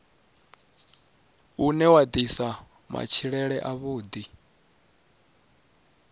une wa ḓisa matshilele avhuḓi